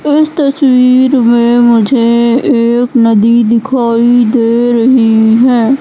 इस तस्वीर में मुझे एक नदी दिखाई दे रही है।